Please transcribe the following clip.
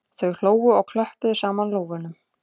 Þau hlógu og klöppuðu saman lófunum